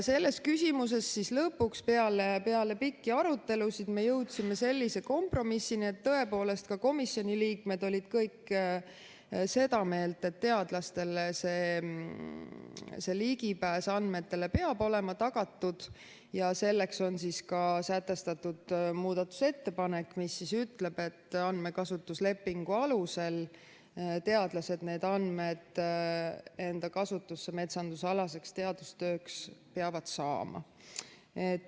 Selles küsimuses lõpuks peale pikki arutelusid me jõudsime sellise kompromissini ja komisjoni liikmed olid kõik seda meelt, et teadlastele peab ligipääs andmetele olema tagatud, ja selleks on esitatud muudatusettepanek, mis ütleb, et andmekasutuslepingu alusel peavad teadlased need andmed enda kasutusse metsandusalaseks teadustööks saama.